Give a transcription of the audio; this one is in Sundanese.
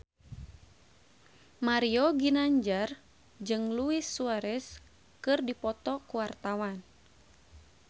Mario Ginanjar jeung Luis Suarez keur dipoto ku wartawan